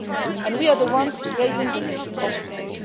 others. And we are the ones raising this issue constantly.